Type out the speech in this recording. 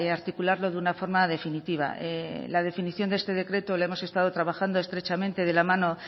articularlo de una forma definitiva la definición de este decreto la hemos estado trabajando estrechamente de la mano